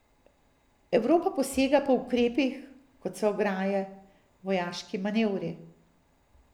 Evropa posega po ukrepih, kot so ograje, vojaški manevri ...